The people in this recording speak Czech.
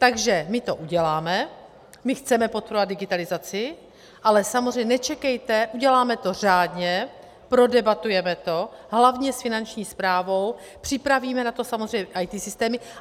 Takže my to uděláme, my chceme podporovat digitalizaci, ale samozřejmě nečekejte - uděláme to řádně, prodebatujeme to, hlavně s Finanční správou, připravíme na to samozřejmě IT systémy.